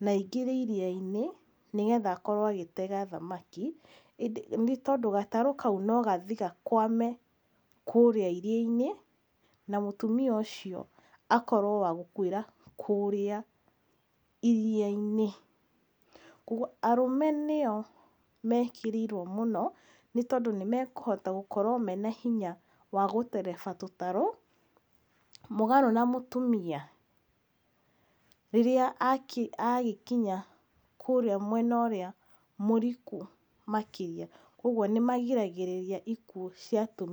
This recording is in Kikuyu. na angire iria-inĩ nĩ getha akorwo agĩtega thamaki , nĩ tondũ gatarũ kau no gathiĩ gakwame kũrĩa iria-inĩ na mũtumia ũcio akorwo wa gũkuĩra kũrĩa iria-inĩ ,koguo arũme nĩo mekĩrĩirwo mũno nĩ tondũ nĩ mekũhota gũkorwo mena hinya wa gũtereba tũtarũ mũgarũ na mũtumia rĩrĩa agĩkinya kũrĩa mwena ũrĩa mũriku makĩria koguo nĩ marigagĩrĩria ikuũ cia atumia.